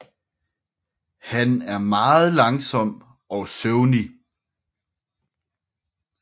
Han er meget langsom og søvnig